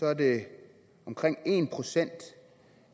er det omkring en procent